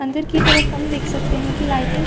अंदर की तरफ हम देख सकते है कि लाइटिंग --